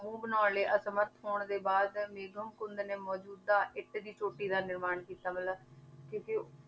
ਮੂੰਹ ਬਣਾਉਣ ਲਈ ਅਸਮਰਥ ਹੋਣ ਦੇ ਬਾਅਦ ਮੇਗਮ ਕੁੰਧ ਨੇ ਮੌਜੂਦਾ ਇੱਟ ਦੀ ਚੋਟੀ ਦਾ ਨਿਰਮਾਣ ਕੀਤਾ ਮਤਲਬ ਕਿਉਂਕਿ